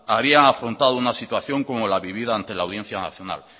habían afrontado una situación como la vivida ante la audiencia nacional